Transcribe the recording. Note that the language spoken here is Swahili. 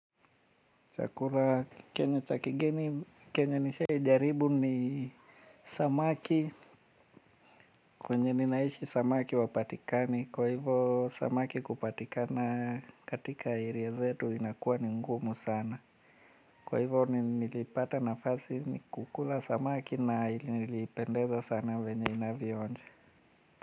Chakula chenye cha kigeni chenye nishaijaribu ni samaki. Kwenye ninaishi samaki hawapatikani kwa hivyo samaki kupatikana katika area zetu inakuwa ni ngumu sana. Kwa hivyo nilipata nafasi ni kukula samaki na ilipendeza sana vyenye inavyoonja.